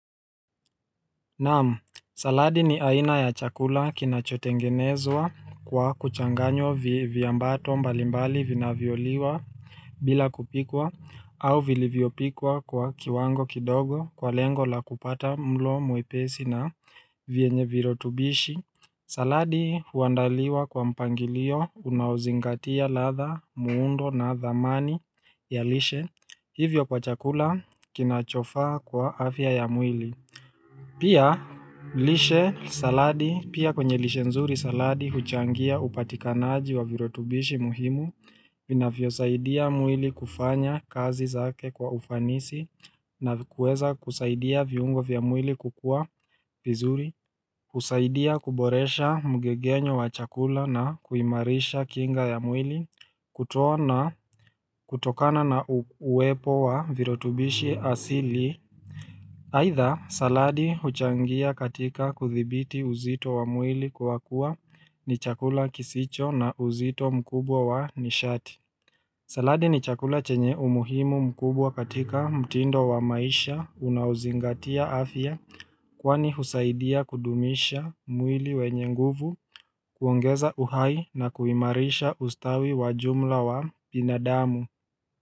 Naamu saladi ni aina ya chakula kinachotengenezwa kwa kuchanganywa vyambato mbalimbali vinavyoliwa bila kupikwa au vilivyopikwa kwa kiwango kidogo kwa lengo la kupata mlo mwepesi na vyenye virotubishi saladi huandaliwa kwa mpangilio unauzingatia ladha muundo na dhamani ya lishe hivyo kwa chakula kinachofaa kwa afya ya mwili Pia lishe saladi, pia kwenye lishe nzuri saladi, huchangia upatikanaji wa virotubishi muhimu, vinavyo saidia mwili kufanya kazi zake kwa ufanisi, na kueza kusaidia viungo vya mwili kukua vizuri, kusaidia kuboresha mgegenyo wa chakula na kuimarisha kinga ya mwili, kutoona kutokana na uwepo wa virotubishi asili. Haidha, saladi huchangia katika kuthibiti uzito wa mwili kwa kuwa ni chakula kisicho na uzito mkubwa wa nishati. Saladi ni chakula chenye umuhimu mkubwa katika mtindo wa maisha unauzingatia afya kwani husaidia kudumisha mwili wenye nguvu, kuongeza uhai na kuimarisha ustawi wa jumla wa binadamu.